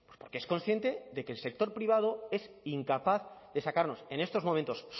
porque es consciente de que el sector privado es incapaz de sacarnos en estos momentos